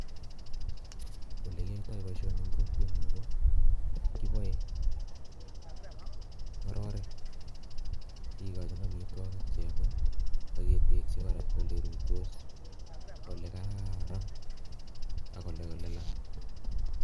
Ole kiyoitoi boisioni eng kokwenyu ko kibae ngororek kikojin amitwogik che yomei ak ketenjin kora ole ruitos ole kararan ak ole lalang.